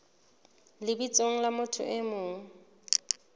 lebitsong la motho e mong